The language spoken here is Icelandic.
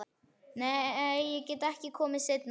Nei, ég get ekki komið seinna, sagði hann.